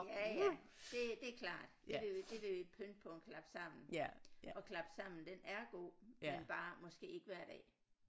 Ja ja det det er klart det ville jo det ville jo pynte på en klapsammen og klapsammen den er god men bare måske ikke hver dag